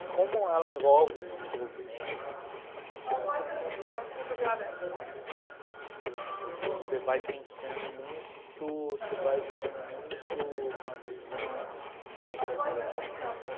E como ela envolve desenvolvimento né das capacidades de liderança eh, você vai pensando muito, você vai ganhando muito uma visão empreendedora da coisa.